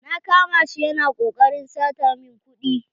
Na kama shi ya na koƙarin sata min kuɗi.